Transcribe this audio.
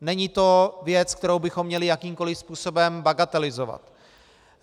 Není to věc, kterou bychom měli jakýmkoli způsobem bagatelizovat.